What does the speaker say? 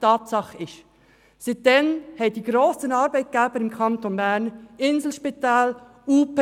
Tatsache ist, dass sich die grossen Arbeitgeber im Kanton Bern wie das Inselspital, die Universitären